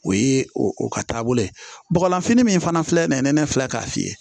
O ye o ka taabolo ye bɔgɔlanfini min fana filɛ nin ye nɛnɛ filɛ k'a f'i ye